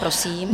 Prosím.